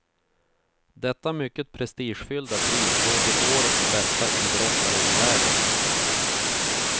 Detta mycket prestigefyllda pris går till årets bästa idrottare i världen.